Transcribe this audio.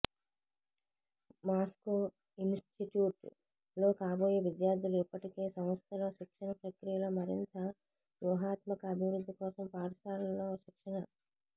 Moscow institute లో కాబోయే విద్యార్థులు ఇప్పటికే సంస్థలో శిక్షణ ప్రక్రియలో మరింత వ్యూహాత్మక అభివృద్ధి కోసం పాఠశాలలో శిక్షణ